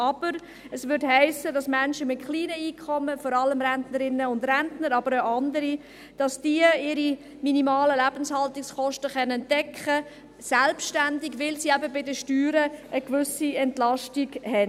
Aber es hiesse, dass Menschen mit kleinen Einkommen, vor allem Rentnerinnen und Rentner, aber auch andere, ihre minimalen Lebenshaltungskosten selbstständig decken könnten, weil sie eben bei den Steuern eine gewisse Entlastung hätten.